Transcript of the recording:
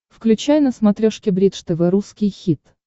включай на смотрешке бридж тв русский хит